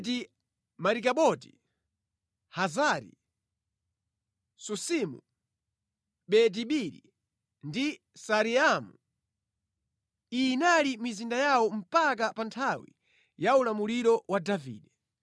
Beti-Marikaboti, Hazari-Susimu, Beti-Biri ndi Saaraimu. Iyi inali mizinda yawo mpaka pa nthawi ya ulamuliro wa Davide.